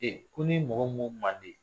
Ee ko ni mɔgɔ mun man di